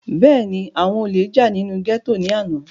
bẹ́ẹ̀ni, àwọn olè jà nínú gẹ́tò ní àná